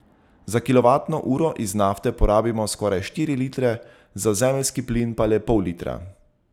Za kilovatno uro iz nafte porabimo skoraj štiri litre, za zemeljski plin pa le pol litra.